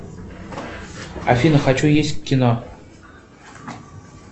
афина хочу есть кино